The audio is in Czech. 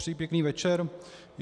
Přeji pěkný večer.